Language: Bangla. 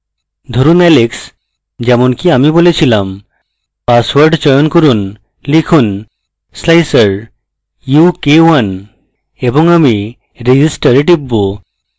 ধরুন alex যেমনকি আমি বলেছিলাম পাসওয়ার্ড চয়ন করুন লিখুন slicer u k 1 এবং আমি register a টিপব